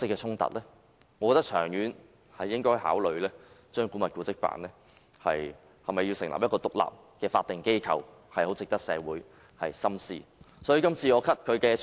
長遠而言，我認為應考慮將古蹟辦改為獨立的法定機構，這是值得社會深思的課題。